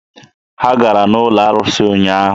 Ha gara n'ụlọ arụsị ụnyaahụ.